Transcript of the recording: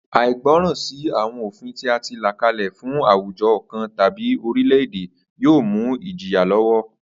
Àìgbó̩ràn sí àwo̩n òfin tí a ti là kalè̩ fún àwùjo̩ kan tàbí oríle̩-èdè yóò mú ìjìyà ló̩wó̩